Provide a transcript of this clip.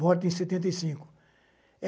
morta em setenta e cinco